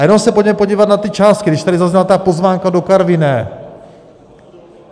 A jenom se pojďme podívat na ty částky, když tady zazněla ta pozvánka do Karviné.